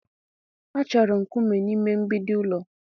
A chọrọ nkume n'ime mgbidi ụlọ